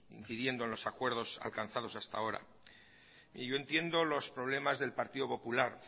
incidiendo en los acuerdos alcanzados hasta ahora y yo entiendo los problemas del partido popular